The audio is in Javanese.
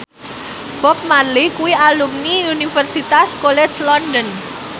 Bob Marley kuwi alumni Universitas College London